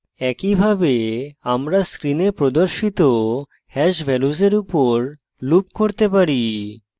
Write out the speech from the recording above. একইভাবে আমরা screen প্রদর্শিত hash ভ্যালুসের উপর loop করতে পারি